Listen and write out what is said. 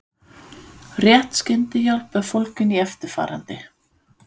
Rétt skyndihjálp er fólgin í eftirfarandi